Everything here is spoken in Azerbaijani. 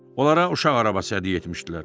Onlara uşaq arabası hədiyyə etmişdilər.